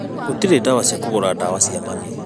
Gũtirĩ dawa cia kũgũra ndawa cia mami